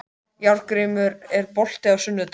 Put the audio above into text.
Járngrímur, er bolti á sunnudaginn?